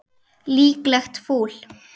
Líklegt fúl.